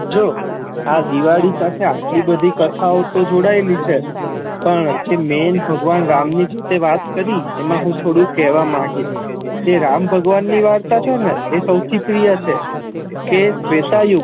જો આ દિવાળી સાથે એટલી બધી કેથાઓ તો જોડાયેલી છે પણ જે મેન ભગવાન રામ ની જે વાત કરી એમા હુ થોડુ કેહવા માગી હમ જે રામ ભગવાન ની જે વાર્તા છે ને એ સૌથી પ્રિય છ કે ત્રેતાયુગ